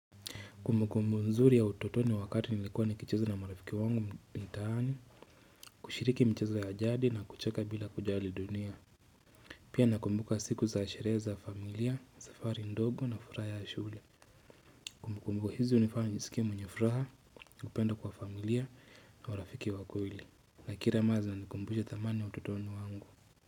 Kumbukumbu nzuri ya utotoni wakati nilikuwa nikichezo na marafiki wangu mtaani kushiriki mchezo ya jadi na kucheka bila kujali dunia Pia nakumbuka siku za sherehe za familia, safari ndogo na furaha ya shule Kumbukumbu hizi hunifanya nisikie mwenyefuraha, kupendwa kwa familia na marafiki wa kweli. Na kila maza zinanikumbusha thamani ya utotoni mwangu.